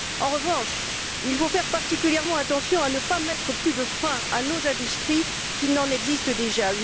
En revanche, il faut faire particulièrement attention à ne pas mettre plus de freins à nos industries qu'il n'en existe déjà.